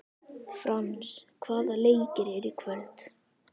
Frans, hvaða leikir eru í kvöld?